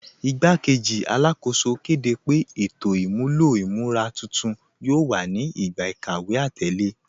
Ìgbàkẹ́jì Alákóṣò kẹ́dẹ́ pé ètò imúlọ̀ imúra tuntun yóò wà ní ìgbà ikàwé atẹlẹ.